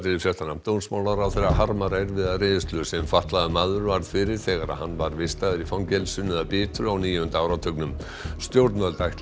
dómsmálaráðherra harmar erfiða reynslu sem fatlaður maður varð fyrir þegar hann var vistaður í fangelsinu að Bitru á níunda áratugnum stjórnvöld ætla